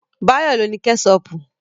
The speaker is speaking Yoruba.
Báyọ̀ ló ní Kẹ́ṣọpù